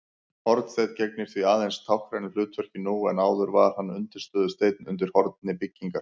Hornsteinn gegnir því aðeins táknrænu hlutverki nú en áður var hann undirstöðusteinn undir horni byggingar.